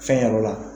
Fɛn yɔrɔ la